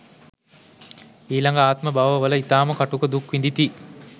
ඊළඟ ආත්ම බව වල ඉතාම කටුක දුක් විඳිති.